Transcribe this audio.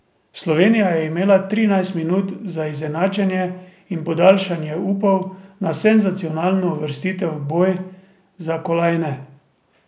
Slovenija je imela trinajst minut za izenačenje in podaljšanje upov na senzacionalno uvrstitev v boj za kolajne.